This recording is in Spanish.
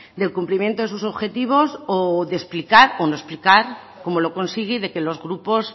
del cumplimiento de sus objetivos o de explicar o no explicar cómo lo consigue de que los grupos